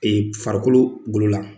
Ɛ Farikolo golo la